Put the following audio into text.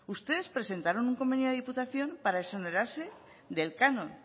ustedes presentaron un convenio a la diputación para exonerarse del canon